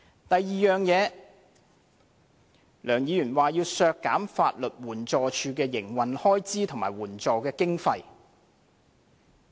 其次，梁議員說要削減法律援助署的營運開支及法律援助經費。